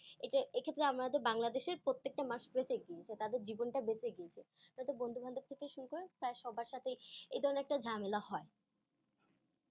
এইটা এই ক্ষেত্রে আমাদের বাংলাদেশের প্রত্যেকটা , আহ তাদের জীবনটা বেঁচে গিয়েছে তাদের বন্ধু বান্ধব থেকে শুরু করে প্রায় সবার সাথেই এই ধরণের একটা ঝামেলা হয়।